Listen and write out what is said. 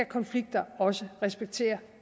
konflikter også respektere